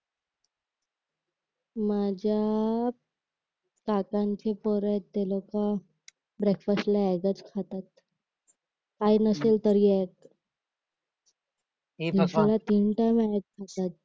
माझ्या काकांची पोर आहेत ते लोकं ब्रेकफास्ट ला एग्जच खातात काही नसेल तरी एग्ज दिवसाला तीन टाईम एग्ज खातात